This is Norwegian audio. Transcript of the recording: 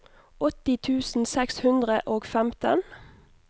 åtti tusen seks hundre og femten